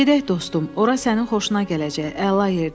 Gedək dostum, ora sənin xoşuna gələcək, əla yerdir.